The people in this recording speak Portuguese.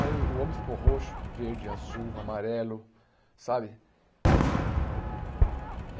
Aí o homem ficou roxo, verde, azul, amarelo, sabe?